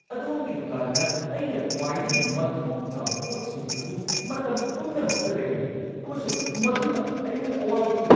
ꯑꯗꯣꯝꯒꯤ ꯗꯨꯀꯥꯟꯗ ꯑꯩꯅ ꯈ꯭ꯋꯥꯏꯗꯒꯤ ꯃꯊꯧ ꯇꯥꯕ ꯄꯣꯠꯁꯤꯡ ꯑꯗꯨ ꯃꯇꯝ ꯄꯨꯝꯅꯃꯛꯇ ꯂꯩꯔꯝꯗꯦ ꯑꯃꯁꯨꯡ ꯃꯗꯨꯅ ꯑꯩꯉꯣꯟꯗ ꯑꯋꯥꯕ ꯄꯤ꯫